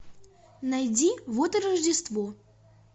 найди вот и рождество